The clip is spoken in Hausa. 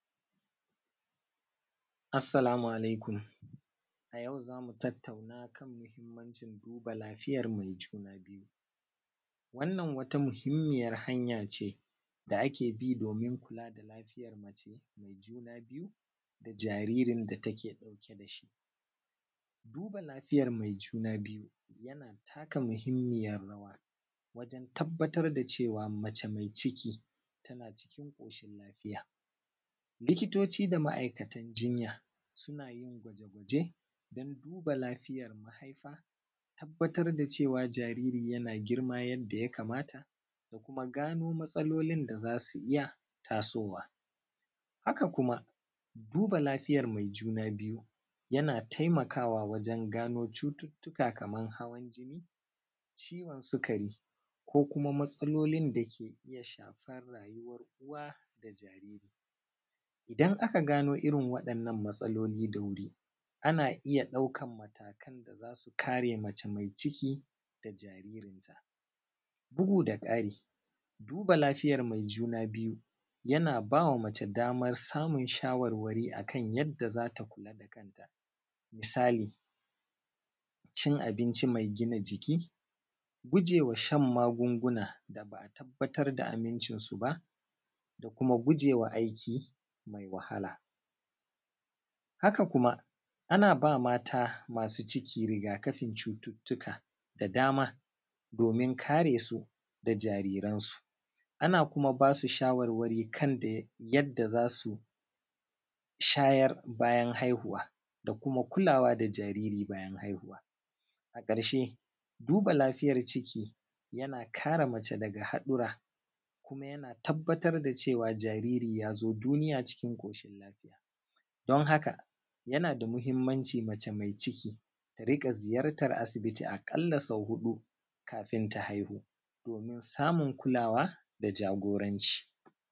assalamu alaikum a yau zamu tattauna a kan muhimmancin duba lafiyar mai juna biyu wannan wata muhimmiyar hanyace da ake bi domin kula da lafiyar mace mai juna biyu da jaririn da take ɗauke da shi duba lafiyar mai juna biyu yana taka muhimmiyar rawa wajan tabbatar da cewa mace mai ciki tana cikin ƙoshin lafiya likitoci da ma’aikatan jinya suna yin gwaje gwaje don duba lafiyar mahaifa tabbatar da cewa jaririn yana girma yadda ya kamata da kuma gano matsalolin da za su iya tasowa haka kuma duba lafiyar mai juna biyu yana taimakawa wajan gano cututtuka kaman hawan jini ciwon sukari ko kuma matsalolin da ke iya shafar rayuwar uwa da jariri idan aka gano irin waɗannan matsaloli da wuri ana iya ɗaukan matakan da za su kare mace mai ciki da jaririnta bugu da ƙari duba lafiyar mai juna biyu yana ba wa mace damar samun shawarwari a kan yadda za ta kula da kanta misali cin abinci mai gina jiki gujewa shan magunguna da ba a tabbatar da amincin su ba da kuma gujewa aiki mai wahala haka kuma ana ba mata masu ciki rigakafin cututtuka da dama domin kare su da jariransu ana kuma ba su shawarwari kan dai yadda za su shayar bayan haihuwa da kuma kulawa da jariri bayan haihuwa a ƙarshe duba lafiyar ciki yana kare mace daga haɗura kuma yana tabbatar da cewa jariri ya zo duniya cikin ƙoshin lafiya don haka yana da muhimmanci mace mai ciki ta riƙa ziyartar asibiti aƙalla sau huɗu kafin ta haihu domin samun kulawa da jagoranci